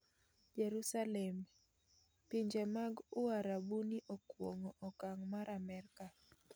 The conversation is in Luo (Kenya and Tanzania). Jerusalem:Pinje mag Uarabuni okuong'o okang' mar Amerka